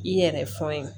I yɛrɛ fɔ ye